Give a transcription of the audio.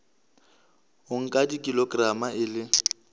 o nka kilograma e le